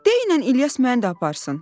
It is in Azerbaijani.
Deyinən İlyas məni də aparsın."